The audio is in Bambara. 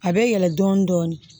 A bɛ yɛlɛn dɔɔnin dɔɔnin